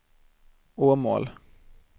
Åmål